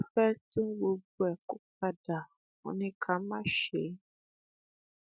a fẹ tún gbogbo ẹ kó padà wọn ní ká má ṣe é